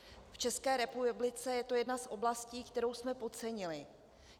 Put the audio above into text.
V České republice je to jedna z oblastí, kterou jsme podcenili.